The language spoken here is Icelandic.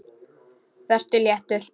Vertu léttur.